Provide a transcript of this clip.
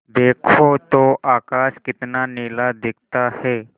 देखो तो आकाश कितना नीला दिखता है